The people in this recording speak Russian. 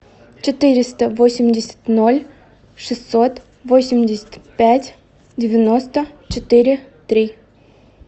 четыреста восемьдесят ноль шестьсот восемьдесят пять девяносто четыре три